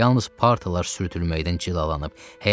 Yalnız partalar sürtülməkdən cilalanıb.